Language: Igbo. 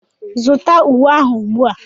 Zụta uwe ahụ ugbu a!